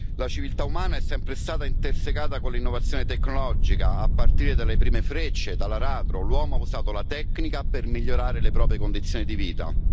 La civiltà umana è sempre stata intersecata con l'innovazione tecnologica, a partire dalle prime frecce, dall'aratro, l'uomo ha usato la tecnica per migliorare le proprie condizioni di vita.